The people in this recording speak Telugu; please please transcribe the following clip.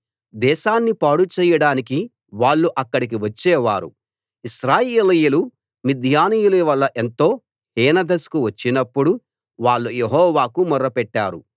దేశాన్ని పాడు చెయ్యడానికి వాళ్ళు అక్కడికి వచ్చే వారు ఇశ్రాయేలీయులు మిద్యానీయుల వల్ల ఎంతో హీనదశకు వచ్చినప్పుడు వాళ్ళు యెహోవాకు మొర్రపెట్టారు